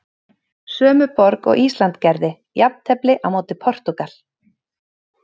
Sömu borg og Ísland gerði jafntefli á móti Portúgal.